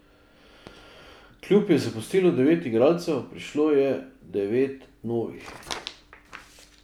Klub je zapustilo devet igralcev, prišlo je devet novih.